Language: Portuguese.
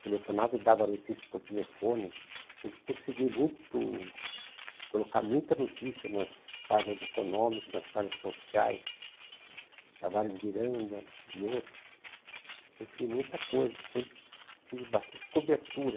Telefonava e dava notícia por telefone Sempre consegui muito Colocar muita notícia Nas páginas econômicas Nas páginas sociais Tavares Miranda e outros Consegui muita coisa Sempre tive bastante cobertura